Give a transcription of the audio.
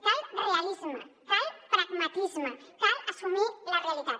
cal realisme cal pragmatisme cal assumir la realitat